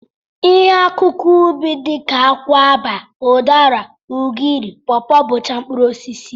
Ihe akụkụ ubi dị ka akwụaba, ụdara, ugiri, pọpọ bụcha mkpụrụosisi